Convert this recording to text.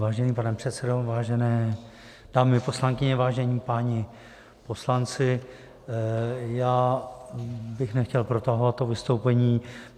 Vážený pane předsedo, vážené dámy poslankyně, vážení páni poslanci, já bych nechtěl protahovat to vystoupení.